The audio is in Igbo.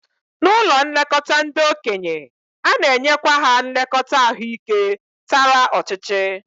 N'ụlọ nlekọta ndị okenye, ana-enyekwa ha nlekọta ahụike tara ọchịchị